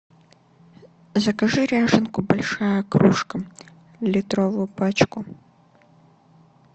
закажи ряженку большая кружка литровую пачку